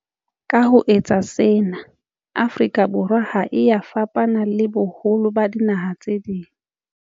Ka ho etsa sena, Afrika Borwa ha e ya fapana le boholo ba dinaha tse ding.